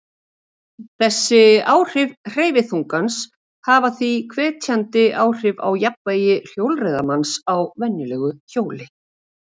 Þessi áhrif hverfiþungans hafa því hverfandi áhrif á jafnvægi hjólreiðamanns á venjulegu hjóli.